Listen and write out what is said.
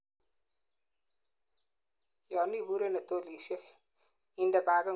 yon iburei en hotelisiek, inde bagitngung en shelbishek ab kurwet nekoto ngweny